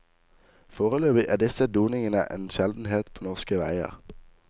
Foreløpig er disse doningene en sjeldenhet på norske veier.